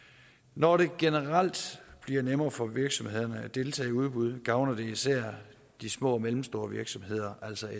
når det generelt bliver nemmere for virksomhederne at deltage i udbud gavner det især de små og mellemstore virksomheder altså